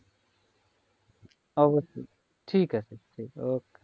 অবশ্যই ঠিকআছে ঠিকআছে okay